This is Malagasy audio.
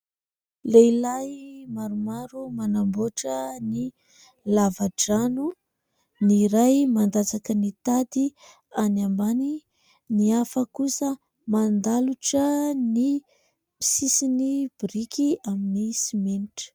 Lehilahy maromaro manamboatra ny lava-drano, ny iray mandatsaka ny tady any ambany, ny hafa kosa mandalotra ny sisiny biriky amin'ny simenitra.